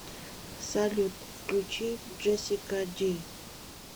салют включи джессика ди